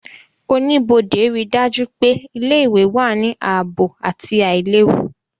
Oníbodé ríi dájú pé ilé-ìwé wà ní ààbò àti àìlewu